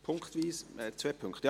– Punktweise, zwei Punkte!